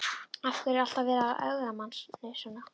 Af hverju er alltaf verið að ögra manni svona?